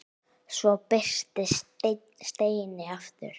Svo birtist Steini aftur.